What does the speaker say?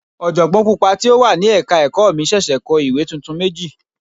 Ọ̀jọ̀gbọ́n Pupa tí ó wà ní ẹ̀ka ẹ̀kọ́ mi ṣẹ̀ṣẹ̀ kọ ìwé tuntun méjì.